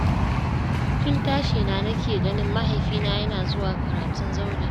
Tun tashina na ke ganin mahaifina yana zuwa karatun zaure.